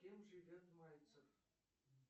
с кем живет мальцев